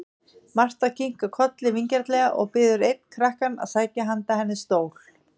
Marta kinkar kolli vingjarnlega og biður einn krakkann sækja handa henni stól.